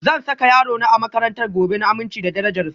Zan saka yarona a makarantar gobe, na amince da darajar su.